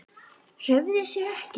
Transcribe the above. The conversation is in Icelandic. Hreyfði sig ekki.